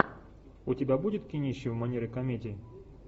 у тебя будет кинище в манере комедии